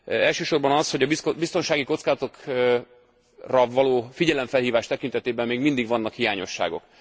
Elsősorban az, hogy a biztonsági kockázatokra való figyelemfelhívás tekintetében még mindig vannak hiányosságok.